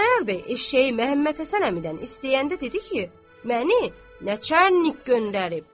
Xudayar bəy eşşəyi Məhəmmədhəsən əmidən istəyəndə dedi ki, məni načərnik göndərib.